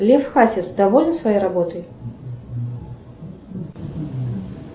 лев хасис доволен своей работой